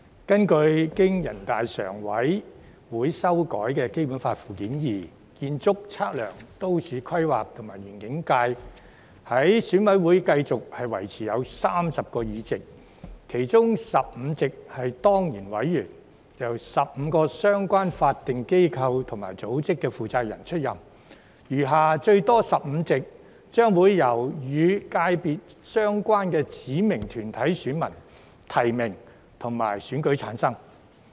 根據經全國人民代表大會常務委員會修改的《基本法》附件二，建測規園界在選委會繼續維持有30個議席，其中15席是當然委員，由15個相關法定機構及組織負責人出任；餘下最多15席，將會由與界別相關的指明團體選民提名及選舉產生。